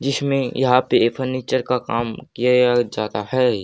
जिसमें यहां पे ये फर्नीचर का काम किया जाता है।